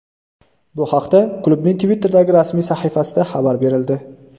Bu haqda klubning Twitter’dagi rasmiy sahifasida xabar berildi .